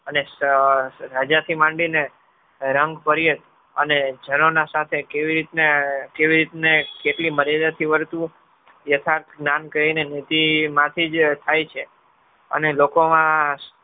અને રાજાથી માંડીને રંગપર્યત અને જનોના સાથે કેવી રીતના કેટલી મર્યાદાથી વર્તવું યથાર્થ નામ કહીને જ થાય છે. અને લોકોમાં